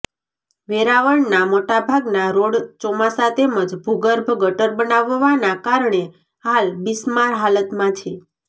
વેરાવળના મોટાભાગના રોડ ચોમાસા તેમજ ભુગર્ભ ગટર બનવાના કારણે હાલ બિસ્માર હાલતમાં છે